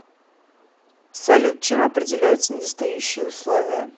салют чем определяются недостающие условия